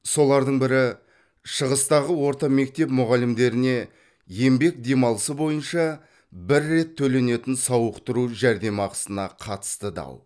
солардың бірі шығыстағы орта мектеп мұғалімдеріне еңбек демалысы бойынша бір рет төленетін сауықтыру жәрдемақысына қатысты дау